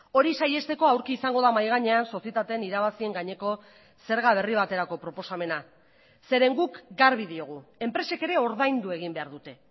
hori saihesteko aurki izango da mahai gainean sozietateen irabazien gaineko zerga berri baterako proposamena zeren guk garbi diogu enpresek ere ordaindu egin behar dute